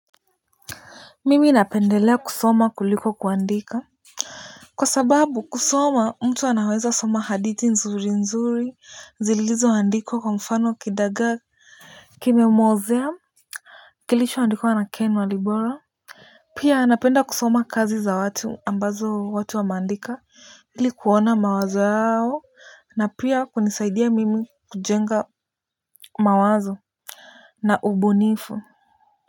Mimi napendelea kusoma kuliko kuandika. Kwa sababu kusoma mtu anaweza soma hadithi nzuri nzuri zilizo andikwa kwa mfano kidagaa kimewozea kilichoandikwa na Ken Walibora. Pia napenda kusoma kazi za watu ambazo watu wa meandika ili kuona mawazo yao na pia kunisaidia mimi kujenga mawazo na ubunifu.